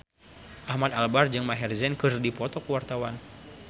Ahmad Albar jeung Maher Zein keur dipoto ku wartawan